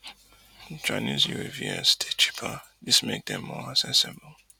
chinese uavs dey cheaper dis make dem more accessible